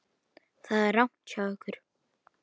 Það er rangt hjá ykkur.